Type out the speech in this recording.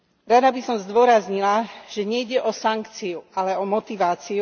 Rada by som zdôraznila, že nejde o sankciu, ale o motiváciu.